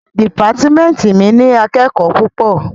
Dìpátímẹ́ntì mi ní akẹ́kòó púpọ̀.